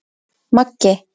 Maggi